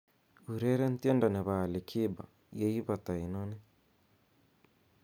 ureren tiendo nepo ali kiba yeipata inoni